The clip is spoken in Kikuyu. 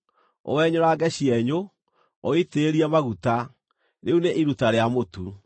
Ũwenyũrange cienyũ, ũũitĩrĩrie maguta; rĩu nĩ iruta rĩa mũtu.